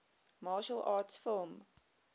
martial arts film